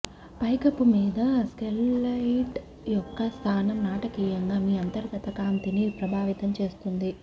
పైకప్పు మీద స్కైలైట్ యొక్క స్థానం నాటకీయంగా మీ అంతర్గత కాంతిని ప్రభావితం చేస్తుంది